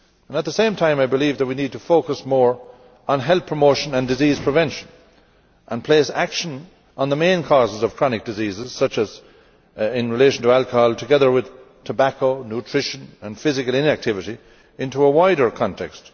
At the same time, I believe that we need to focus more on health promotion and disease prevention and place action on the main causes of chronic diseases not only in relation to alcohol but also in connection with tobacco, nutrition and physical inactivity into a wider context